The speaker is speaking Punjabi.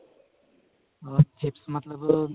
ਅਹ chips ਮਤਲਬ